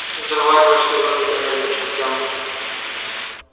взорвать ваш северный туннель к чертям